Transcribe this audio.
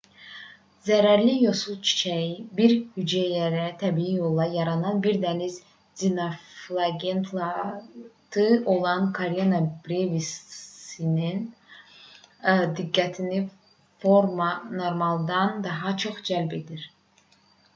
zərərli yosun çiçəyi bir hüceyrəli təbii yolla yaranan bir dəniz dinoflagellatı olan karena brevisin diqqətini normaldan daha çox cəlb edir